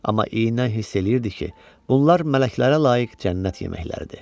Amma inad eləyirdi ki, bunlar mələklərə layiq cənnət yeməkləridir.